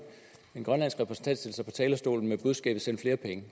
en grønlandsk repræsentant stille sig op på talerstolen med budskabet send flere penge